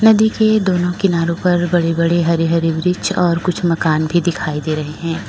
नदी के दोनों किनारों पर बड़े बड़े हरे हरे वृक्ष और कुछ मकान भी दिखाई दे रहे हैं।